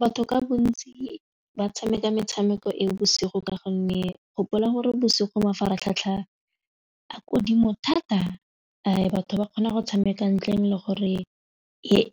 Batho ka bontsi ba tshameka metshameko e bosigo ka gonne gopola gore bosigo mafaratlhatlha a kodimo thata a batho ba kgona go tshameka ntleng le gore